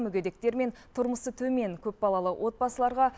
мүгедектер мен тұрмысы төмен көпбалалы отбасыларға